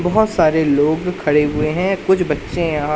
बहोत सारे लोग खड़े हुए हैं कुछ बच्चे यहां--